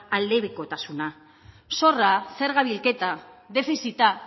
aldebikotasuna zorra zerga bilketa defizita